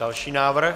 Další návrh.